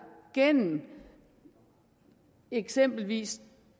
gennem eksempelvis